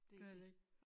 Gør heller ikke